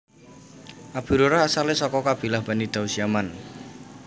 Abu Hurairah asalé saka kabilah Bani Daus Yaman